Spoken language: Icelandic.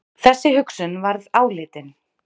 Þessi hugsun varð áleitin.